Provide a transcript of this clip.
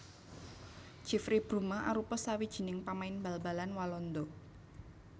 Jeffrey Bruma arupa sawijining pamain bal balan Walanda